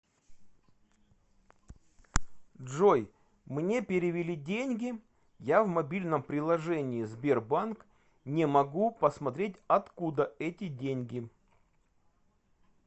джой мне перевели деньги я в мобильном приложение сбербанк не могу посмотреть от куда эти деньги